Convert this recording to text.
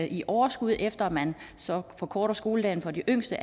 i overskud efter at man så forkorter skoledagen for de yngste